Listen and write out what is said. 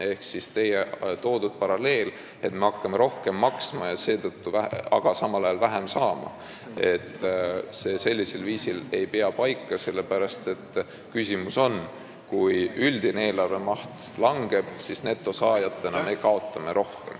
Ehk teie toodud paralleel, et me hakkame sinna rohkem sisse maksma ja samal ajal sealt vähem saama, ei pea paika, sellepärast et kui üldine eelarve maht langeb, siis me kaotame netosaajana rohkem.